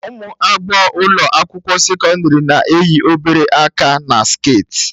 Ụmụ agbọghọ ụlọ akwụkwọ sekọndrị na-eyi obere aka na sket